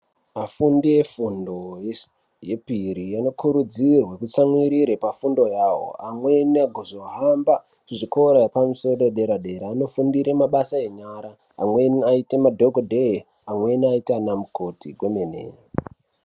Vafundi vefundo yepiri vano kurudzirwe kutsa mwiririra pafundo yavo amweni a kuzo hamba kuzvikora zvedera dera uno fundira mabasa enyara amwe anoita madhokodheya wenaita ana mukoti.